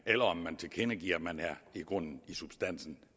eller om man tilkendegiver at man i grunden i substansen